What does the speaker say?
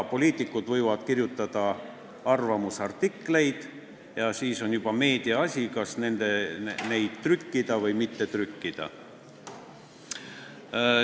Poliitikud võivad kirjutada arvamusartikleid ja siis on juba meedia asi, kas neid trükkida või mitte trükkida.